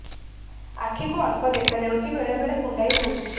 ଆଖି କୁ ଅଳ୍ପ ଦେଖା ଯାଉଛି ବେଳେ ବେଳେ କୁଣ୍ଡାଇ ହଉଛି